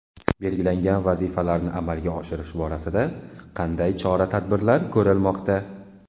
Belgilangan vazifalarni amalga oshirish borasida qanday chora-tadbirlar ko‘rilmoqda?